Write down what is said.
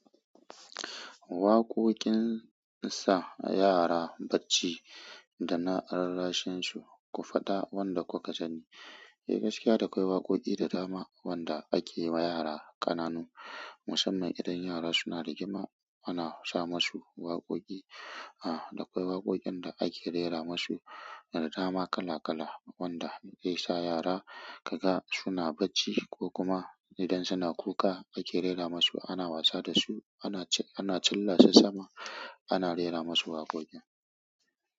Waƙoƙin sa yara bacci da na rarrashin su, ku faɗa wanda ku ka sani. Eh gaskiya da akwai waƙoƙi da dama wanda ake wa yara ƙananu musamman idan yara suna rigima ana sa masu waƙoƙi. A, da akwai waƙoƙin da ake rera masu da dama kala kala wanda zai sa yara ka ga suna bacci ko kuma idan suna kuka ake rera masu ana wasa da su ana ana cilla su sama ana rera masu waƙoƙin.